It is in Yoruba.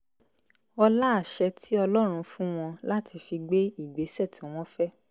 ọlá àṣẹ tí ọlọ́run fún wọn láti fi gbé ìgbésẹ̀ tí wọ́n fẹ́